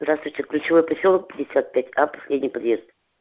здравствуйте ключевой посёлок пятьдесят пять а последний подъезд